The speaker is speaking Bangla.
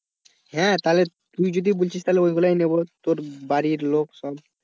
হ্যাঁ তাহলে তুই যদি বলছিস ওগুলোই নেব বাড়ির লোক সব।